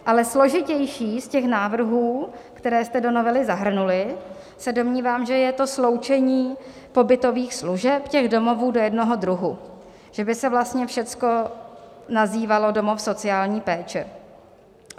Ale složitější z těch návrhů, které jste do novely zahrnuli, se domnívám, že je to sloučení pobytových služeb těch domovů do jednoho druhu, že by se vlastně všecko nazývalo domov sociální péče.